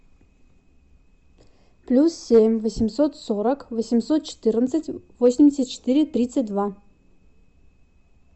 плюс семь восемьсот сорок восемьсот четырнадцать восемьдесят четыре тридцать два